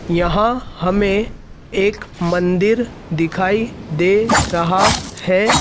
यहां हमें एक मंदिर दिखाई दे रहा है।